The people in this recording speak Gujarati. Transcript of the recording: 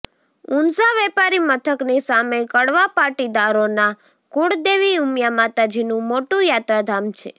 ઉંઝા વેપારી મથકની સામે કડવા પાટીદારોના કુળદેવી ઉમિયા માતાજીનું મોટું યાત્રાધામ છે